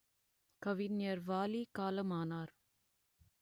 கவிஞர் வாலி காலமானார்